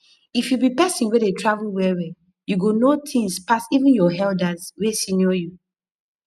if you be pesin wey dey travel well well u go know things pas even your elders wey senior you